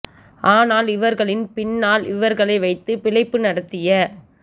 ஆனால் இவர்களின் பின்னால் இவர்களை வைத்து பிழைப்பு நடத்திய